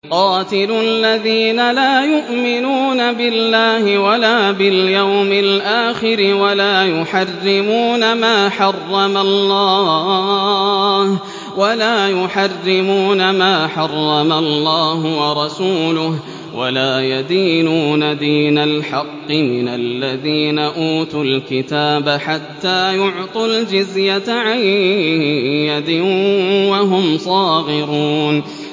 قَاتِلُوا الَّذِينَ لَا يُؤْمِنُونَ بِاللَّهِ وَلَا بِالْيَوْمِ الْآخِرِ وَلَا يُحَرِّمُونَ مَا حَرَّمَ اللَّهُ وَرَسُولُهُ وَلَا يَدِينُونَ دِينَ الْحَقِّ مِنَ الَّذِينَ أُوتُوا الْكِتَابَ حَتَّىٰ يُعْطُوا الْجِزْيَةَ عَن يَدٍ وَهُمْ صَاغِرُونَ